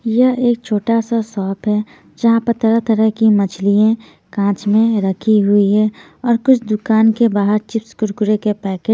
यह एक छोटा सा शॉप है जहां पर तरह-तरह की मछलियां कांच में रखी हुई है और कुछ दुकान के बाहर चिप्स कुरकुरे के पैकेट --